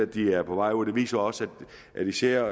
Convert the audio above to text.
de er på vej ud den viser også at især